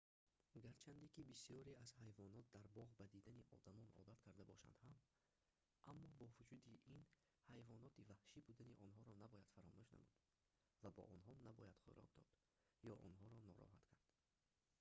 гарчанде ки бисёре аз ҳайвонот дар боғ ба дидани одамон одат карда бошанд ҳам аммо бо вуҷуди ин ҳайвоноти ваҳшӣ будани онҳоро набояд фаромӯш намуд ва ба онҳо набояд хӯрок дод ё онҳоро нороҳат кард